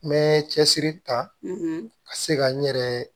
N bɛ cɛsiri ta ka se ka n yɛrɛ